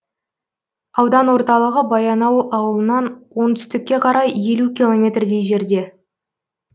аудан орталығы баянауыл ауылынан оңтүстікке қарай елу километрдей жерде